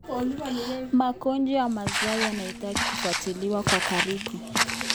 Magonjwa ya mazao yanahitaji kufuatiliwa kwa karibu.